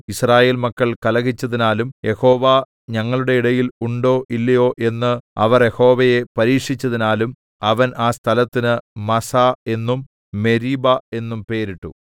യിസ്രായേൽ മക്കൾ കലഹിച്ചതിനാലും യഹോവ ഞങ്ങളുടെ ഇടയിൽ ഉണ്ടോ ഇല്ലയോ എന്ന് അവർ യഹോവയെ പരീക്ഷിച്ചതിനാലും അവൻ ആ സ്ഥലത്തിന് മസ്സാ എന്നും മെരീബാ എന്നും പേരിട്ടു